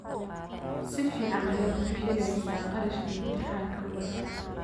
Si fiican ayaad u bixisay kharashka imtixaanka ubadka